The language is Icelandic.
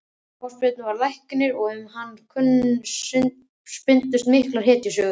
Ásbjörn var læknir og um hann spunnust miklar hetjusögur.